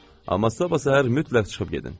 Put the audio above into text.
Amma sabah səhər mütləq çıxıb gedin.